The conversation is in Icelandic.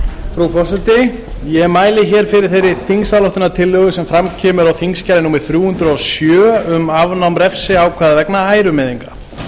frú forseti ég mæli hér fyrir þeirri þingsályktunartillögu sem fram kemur á þingskjali númer þrjú hundruð og sjö um um afnám refsiákvæða vegna ærumeiðinga